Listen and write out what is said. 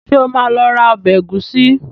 Ṣé o máa lọ ra ọbẹ̀ ẹ̀gúsí?